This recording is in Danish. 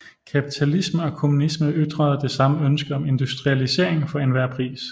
Kapitalisme og kommunisme ytrede det samme ønske om industrialisering for enhver pris